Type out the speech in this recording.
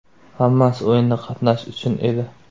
Hammasi o‘yinda qatnashish uchun edi.